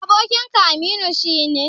Abokinka Aminu shi ne?